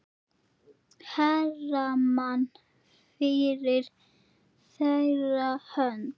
Hermann fyrir þeirra hönd.